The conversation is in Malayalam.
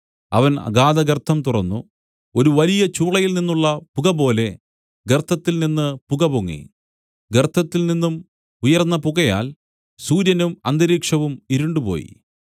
അവൻ അഗാധഗർത്തം തുറന്നു ഒരു വലിയ ചൂളയിൽ നിന്നുള്ള പുകപോലെ ഗർത്തത്തിൽനിന്ന് പുകപൊങ്ങി ഗർത്തത്തിൽ നിന്നും ഉയർന്ന പുകയാൽ സൂര്യനും അന്തരീക്ഷവും ഇരുണ്ടുപോയി